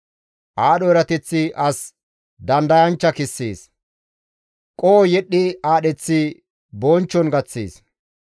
Aadho erateththi as dandayanchcha kessees; qoho yedhdhi aadheththi bonchchon gaththees.